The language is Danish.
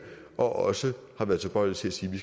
og også har været tilbøjelige til at sige at vi